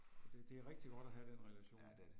Det det er rigtig godt at have den relation